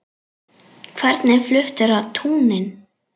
Hvernig fluttur á túnin?